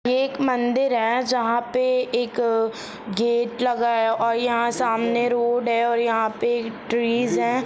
यह एक मंदिर है जहाँ पे एक गेट लगाया और यहाँ सामने रोड है और यहाँ पे ट्रीस है।